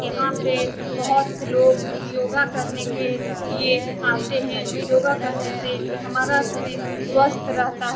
यहाँ पे बहुत लोग योगा करने के लिए आते है | योगा करने से हमारा शरीर स्वस्थ रहता है ।